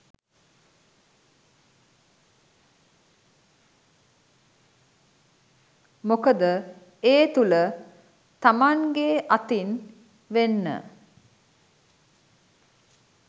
මොකද ඒ තුළ තමන්ගේ අතින් වෙන්න